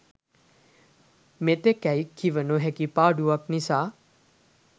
මෙතෙකැයි කිව නොහැකි පාඩුවක් නිසා